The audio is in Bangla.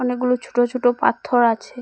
অনেকগুলো ছোট ছোট পাথর আছে।